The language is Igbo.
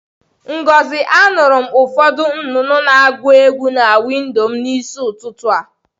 Ngozi, anuru m ufodu nnụnụ na-agu egwu na windo m n'isi ututu a.